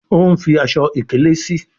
o ń fí Aṣọ ìkèlé sí.